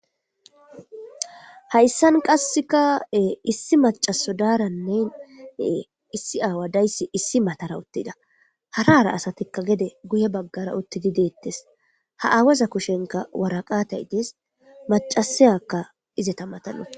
Hayssan qasseka issi macaso daarannen issi aawa dayssi issi matara uttida harara asatikka gede guye baggara uttidi deettes ha aawaza kushenka waraqatay idees macasiyakka izeta matanu